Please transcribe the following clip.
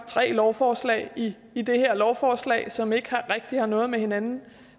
tre lovforslag i i det her lovforslag som ikke rigtig har noget med hinanden